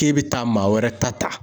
K'e bɛ taa maa wɛrɛ ta ta!